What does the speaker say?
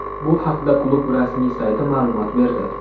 Bu haqda klub rasmiy sayti ma’lumot berdi .